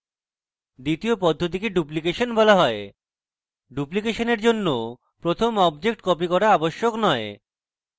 দ্বিতীয় পদ্ধতিকে duplication বলা হয় ডুপ্লিকেশনের জন্য আমাদের প্রথম object copy করা আবশ্যক নয়